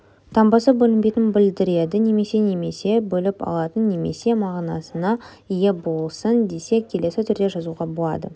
таңбасы бөлінбейтін білдіреді немесе немесе бөліп алатын немесе мағынасына ие болсын десек келесі түрде жазуға болады